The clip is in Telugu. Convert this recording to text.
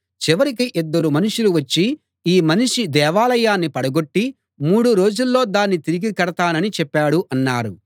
చివరికి ఇద్దరు మనుషులు వచ్చి ఈ మనిషి దేవాలయాన్ని పడగొట్టి మూడు రోజుల్లో దాన్ని తిరిగి కడతానని చెప్పాడు అన్నారు